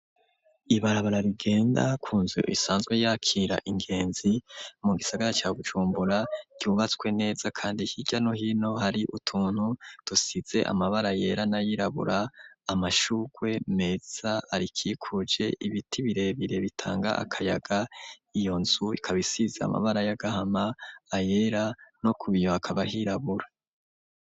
Ibarabara rigenda kunzu isanzwe yakira ingenzi mu gisagara ca Bujumbura cubatswe neza kandi hirya no hino hari utuntu dusize amabara yera n'ayirabura amashugwe meza arakikuje ibiti birebire bitanga akayaga iyo nzu ikabisize amabara y'agahama ayera no kubiyoba hakaba hirabura.